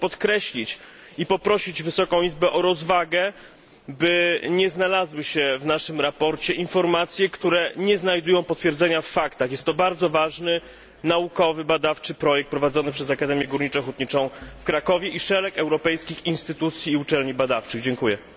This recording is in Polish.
Chcę to podkreślić i poprosić Wysoką Izbę o rozwagę, by nie znalazły się w naszym sprawozdaniu informacje, które nie znajdują potwierdzenia w faktach. Jest to bardzo ważny naukowy, badawczy projekt prowadzony przez Akademię Górniczo Hutniczą w Krakowie i szereg europejskich instytucji badawczych i uczelni.